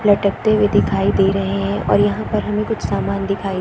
लटकते हुए दिखाई दे रहे है और यहाँ पर हमें कुछ सामान दिखाई --